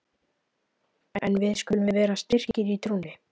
En við skulum vera styrkir í trúnni!